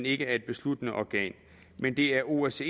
ikke er et besluttende organ det er osce